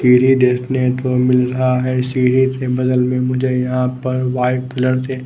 इरी देखने को मिल रहा है सीडी से बगल में मुझे यहां पर वाइट कलर से--